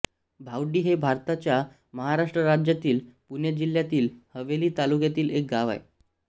भावडी हे भारताच्या महाराष्ट्र राज्यातील पुणे जिल्ह्यातील हवेली तालुक्यातील एक गाव आहे